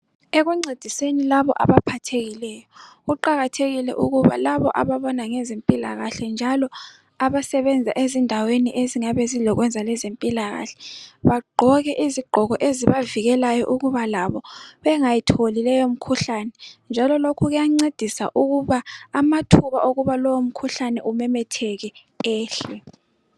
Ekuncediseni labo abaphathekileyo kuqakathekile ukuba labo ababona ngezempilakahle njalo abasebenza ezindaweni ezingabe zilokwenza yezempilakahle bagqoke isigqoko ezikavikelayo uba labo bengayitholi imkhuhlane. Njalo lokhu kuyancedisa ukuba amathuba okuthi lowo mkhuhlane umemetheke ehle.